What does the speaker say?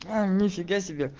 нифига себе